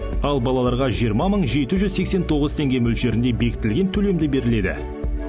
ал балаларға жиырма мың жеті жүз сексен тоғыз теңге мөлшерінде бекітілген төлемді беріледі